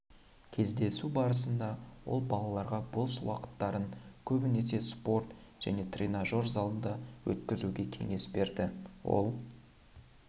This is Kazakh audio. кездесу барысында ол балаларға бос уақыттарын көбінесе спорт және тренажер залында өткізуге кеңес берді ол